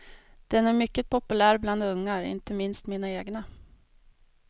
Den är mycket populär bland ungar, inte minst mina egna.